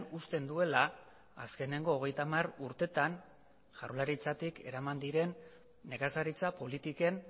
uzten duela azkeneko hogeita hamar urteetan jaurlaritzatik eraman diren nekazaritza politiken